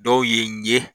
Dɔw ye n ye